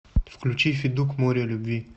включи федук море любви